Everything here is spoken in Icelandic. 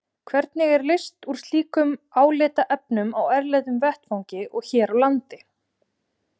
Hvernig er leyst úr slíkum álitaefnum á erlendum vettvangi og hér á landi?